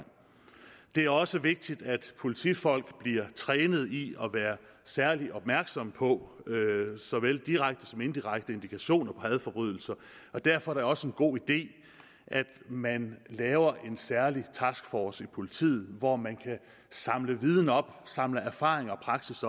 det er også vigtigt at politifolk bliver trænet i at være særlig opmærksomme på såvel direkte som indirekte indikationer på hadforbrydelser og derfor er det også en god idé at man laver en særlig taskforce i politiet hvor man kan samle viden op samle erfaringer